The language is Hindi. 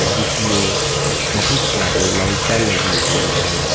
जिसमें बहुत सारी लाइटा लगी हुई है।